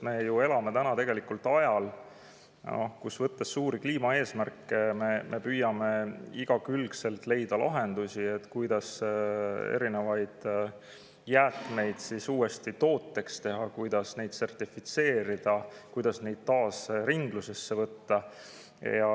Me elame ajal, kus me suuri kliimaeesmärke võttes püüame igakülgselt leida lahendusi, et erinevaid jäätmeid uuesti tooteks teha, neid sertifitseerida, taas ringlusse võtta.